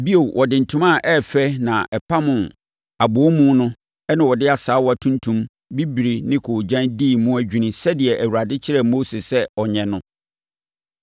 Bio, wɔde ntoma a ɛyɛ fɛ na ɛpam abɔwomu no na wɔde asaawa tuntum, bibire ne koogyan dii mu adwini sɛdeɛ Awurade kyerɛɛ Mose sɛ ɔnyɛ no.